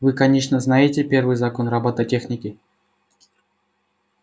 вы конечно знаете первый закон роботехники